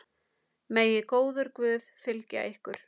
Megi góður Guð fylgja ykkur.